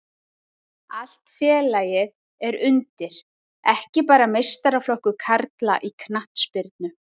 Allt félagið er undir, ekki bara meistaraflokkur karla í knattspyrnu.